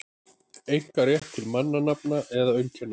einkarétt til mannanafna eða auðkenna.